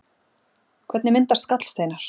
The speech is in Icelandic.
Hvernig myndast gallsteinar?